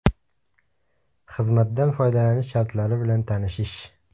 Xizmatdan foydalanish shartlari bilan tanishish.